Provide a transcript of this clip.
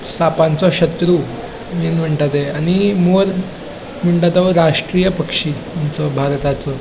सापांचो शत्रु आमी म्हणता ते आणि मोर म्हणता तो राष्टीय पक्षी आमचो भारताचो.